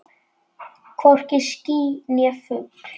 Hvorki ský né fugl.